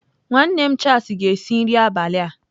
Nwanne m Charles ga-esi nri abalị a.